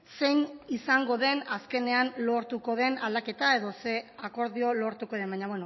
zein izango den azkenean lortuko den aldaketa edo ze akordio lortuko den baina